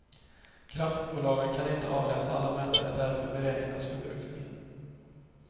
Kraftbolagen kan inte avläsa alla mätare, därför beräknas förbrukningen.